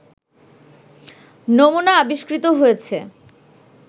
নমুনা আবিষ্কৃত হয়েছে